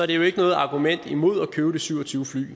det jo ikke noget argument imod at købe de syv og tyve fly